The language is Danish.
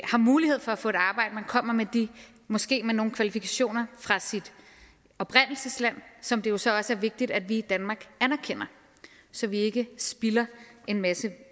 har mulighed for at få et arbejde man kommer måske nogle kvalifikationer fra sit oprindelsesland som det jo så også er vigtigt at vi i danmark anerkender så vi ikke spilder en masse